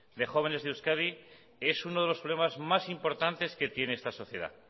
de jóvenes de euskadi es uno de los problemas más importantes que tiene esta sociedad